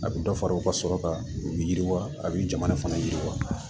A bɛ dɔ fara u ka sɔrɔ kan u bɛ yiriwa a' bɛ jamana fana yiriwa